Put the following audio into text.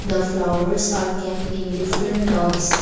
The flowers are kept in different tubs.